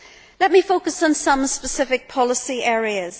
Let me focus on some specific policy areas.